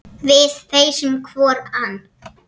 Við feisum hvor ann